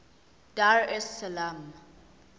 dar es salaam